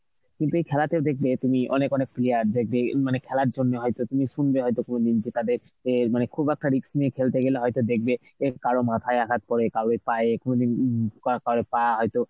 কিন্তু ওই খেলাতে দেখবে তুমি অনেক অনেক player দেখবে এই মানে খেলার জন্য হয়তো তুমি শুনবে হয়তো কোনদিন যে তাদের অ্যাঁ মানে খুব একটা risk নিয়ে খেলতে গেলে হয়তো দেখবে কারো মাথায় আঘাত পরে কারোর পায়ে কোনদিন উম কার~ কারো পা হয়তো